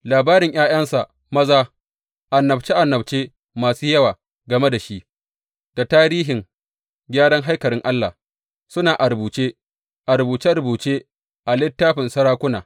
Labarin ’ya’yansa maza, annabce annabce masu yawa game da shi, da tarihin gyaran haikalin Allah suna a rubuce a rubuce rubuce a littafin sarakuna.